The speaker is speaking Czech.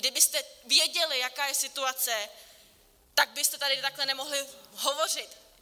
Kdybyste věděli, jaká je situace, tak byste tady takhle nemohli hovořit.